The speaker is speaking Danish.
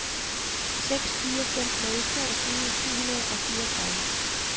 seks fire fem nul toogtyve syv hundrede og fireogtredive